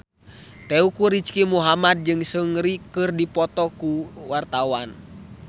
Teuku Rizky Muhammad jeung Seungri keur dipoto ku wartawan